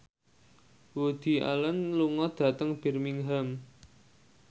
Woody Allen lunga dhateng Birmingham